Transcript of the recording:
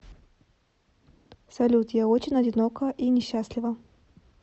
салют я очень одинока и несчастлива